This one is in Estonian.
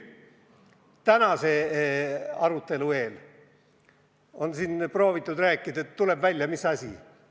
Tänase arutelu eel on proovitud rääkida, aga mis on välja tulnud?